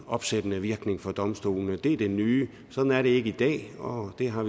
opsættende virkning for domstolene det er det nye sådan er det ikke i dag og vi har